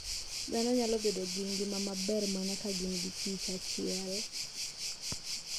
Dhano nyalo bedo gi ngima maber mana ka gin giKich achiel.